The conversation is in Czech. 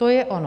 To je ono.